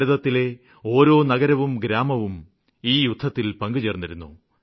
ഭാരതത്തിലെ ഓരോ നഗരവും ഗ്രാമവും ഈ യുദ്ധത്തില് പങ്കു ചേര്ന്നിരുന്നു